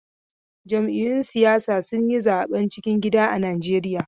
Jam'iyyun siyasa sun yi zaben cikin gida a Najeriya.